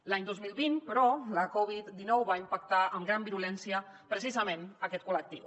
l’any dos mil vint però la covid dinou va impactar amb gran virulència precisament aquest col·lectiu